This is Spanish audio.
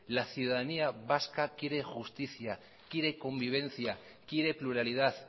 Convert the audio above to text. la ciudadanía vasca quiere justicia quiere convivencia quiere pluralidad